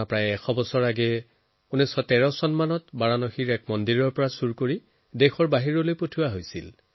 প্ৰায় ১০০ বছৰৰ পূৰ্বে ১৯১৩ চন মানত বাৰাণসীৰ এটা মন্দিৰৰ পৰা এই প্ৰতিমা চুৰি হৈছিল